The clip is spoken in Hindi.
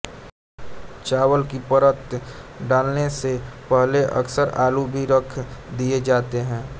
चावल की परत डालने से पहले अक्सर आलू भी रख दिए जाते हैं